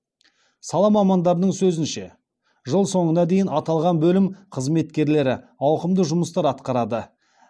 сала мамандарының сөзінше жыл соңына дейін аталған бөлім қызметкерлері ауқымды жұмыстар атқарады